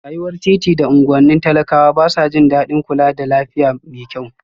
Rayuwar titi da unguwannin talakawa ba sa jin daɗin kula da lafiya mai kyau